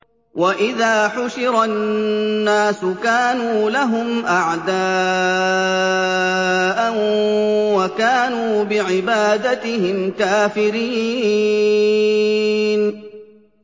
وَإِذَا حُشِرَ النَّاسُ كَانُوا لَهُمْ أَعْدَاءً وَكَانُوا بِعِبَادَتِهِمْ كَافِرِينَ